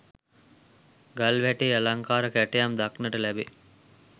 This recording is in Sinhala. ගල්වැටෙහි අලංකාර කැටයම් දක්නට ලැබේ.